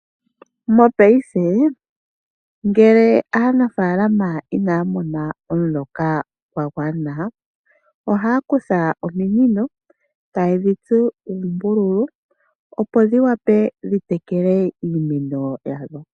Mopaife ngele aanafaalama inaya mona omuloka gwa gwana ohaya kutha ominino taye dhi tsu uumbululu, opo dhi wape dhi tekele iimeno yawo.